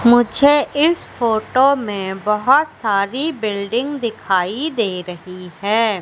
मुझे इस फोटो मे बहोत सारी बिल्डिंग दिखाई दे रही है।